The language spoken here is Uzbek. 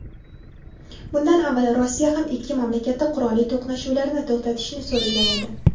Bundan avval Rossiya ham ikki mamlakatdan qurolli to‘qnashuvlarni to‘xtatishni so‘ragan edi.